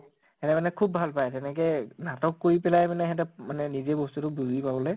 সেহেঁতে মানে খুব ৱাল পাই , তেনেকে নাটক কৰি পেলাই মানে সেহেঁতে মানে নিজেই ব্স্তু তো বুজি পাবলৈ